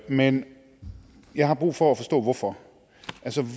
men jeg har brug for at forstå hvorfor